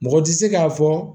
Mɔgɔ tɛ se k'a fɔ